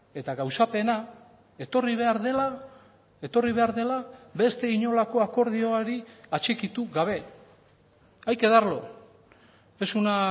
eta gauzapena etorri behar dela etorri behar dela beste inolako akordiori atxikitu gabe hay que darlo es una